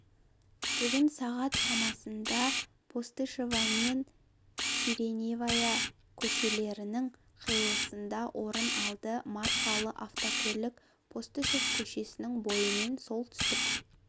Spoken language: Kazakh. бүгін сағат шамасында постышева мен сиреневая көшелерінің қиылысында орын алды маркалы автокөлік постышев көшесінің бойымен солтүстік